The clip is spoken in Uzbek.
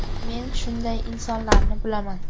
Men shunday insonlarni bilaman.